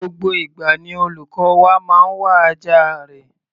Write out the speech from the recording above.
Gbogbo ìgbà ni olùkọ́ wa máa ń wá ajá rẹ̀.